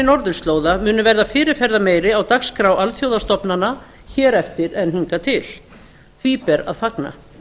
norðurslóða munu verða fyrirferðarmeiri á dagskrá alþjóðastofnana hér eftir en hingað til því ber að fagna